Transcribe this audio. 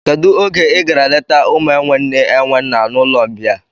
Kedụ oge I gara leta ụmụ enwe nne enwe nna n'ụlọmbịa?